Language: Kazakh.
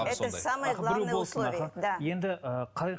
это самое главное условие да